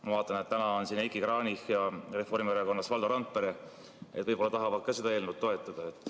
Ma vaatan, et täna on siin Reformierakonnast Heiki Kranich ja Valdo Randpere, võib-olla nad tahavad ka seda eelnõu toetada.